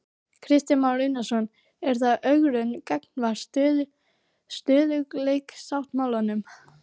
Kristján Már Unnarsson: Er það ögrun gagnvart stöðugleikasáttmálanum?